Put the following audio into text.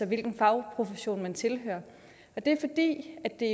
hvilken fagprofession man tilhører det er